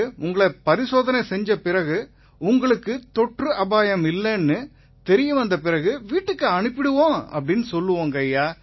பிறகு உங்களை பரிசோதனை செஞ்ச பிறகு உங்களுக்கு தொற்று அபாயம் இல்லைன்னு தெரிய வந்தபிறகு வீட்டுக்கு அனுப்பிருவோம்னு சொல்லுவோம்